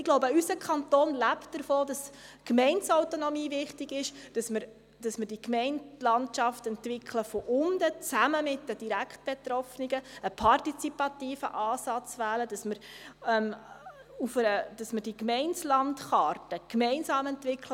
Ich glaube, unser Kanton lebt davon, dass die Gemeindeautonomie wichtig ist und die Gemeindelandschaft von unten her gemeinsam mit den direkt Betroffenen entwickelt wird, dabei ein partizipativer Ansatz gewählt und die Gemeindelandkarte gemeinsam entwickelt wird.